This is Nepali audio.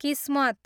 किस्मत